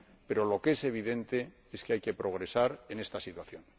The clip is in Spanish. Pero lo que es evidente es que hay que progresar en esta situación.